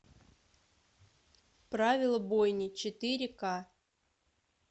правила бойни четыре к